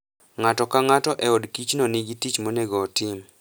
Ng'ato ka ng'ato e od kichino nigi tich monego otim.